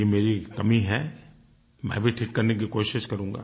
ये मेरी एक कमी है मैं भी ठीक करने की कोशिश करूँगा